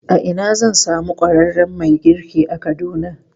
A ina zan samu ƙwararren mai girki a Kaduna?